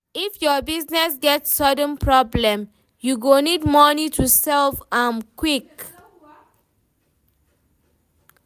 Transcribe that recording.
If your business get sudden problem, you go need moni to solve am quick.